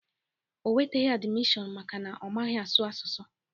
O nweteghi admishọn maka na ọ maghị asụ asụsụ